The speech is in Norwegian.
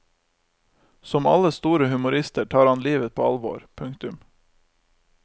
Som alle store humorister tar han livet på alvor. punktum